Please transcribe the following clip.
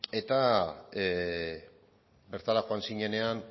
eta bertara joan zinenean